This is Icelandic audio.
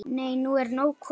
Nei, nú er nóg komið!